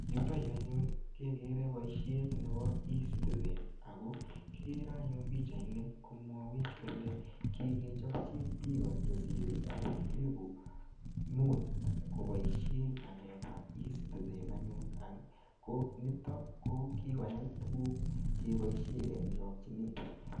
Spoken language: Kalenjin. Yuto yuu anyun kekere boishet nebo ecitizen ak ko kikere anyun pichaini komwowech kolee kikechopchi biik chesire akot elibu muut koboishen ngalekab ecitizen anyun, ko niton ko kikoyai tukuk keboishen en chokyinet.